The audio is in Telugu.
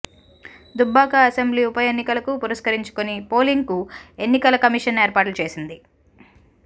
దుబ్బాక అసెంబ్లీ ఉప ఎన్నికలకు పురస్కరించుకొని పోలింగ్ కు ఎన్నికల కమిషన్ ఏర్పాట్లు చేసింది